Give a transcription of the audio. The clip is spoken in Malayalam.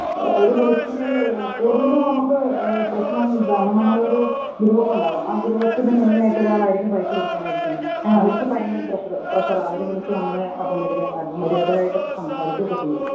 ഏ അവര് വിളിച്ച് കൂടുതലും നമക്ക് ഏ പ്രശ്നം ഇതാണ് നമ്മളൊരു ഗ്രൂപ് ഉണ്ടാവും ആ ഗ്രൂപ്പിന് മെയിന്‍ ആയിട്ടൊരാളായിരിക്കും പൈസ പിരിക്കാനായി ഇരിക്കുന്നത് അവർക്ക് ഭയങ്കര പ്രഷർ പ്രഷറാ അവര് വിളിച്ച് നമ്മളെ അപമര്യ അപമര്യാദയായിട്ടൊക്കെ സംസാരിക്കെ ചെയ്യും.